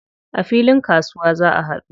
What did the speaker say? A filin kasuwa za a haɗu.